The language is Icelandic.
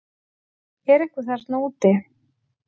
Er einhver þarna úti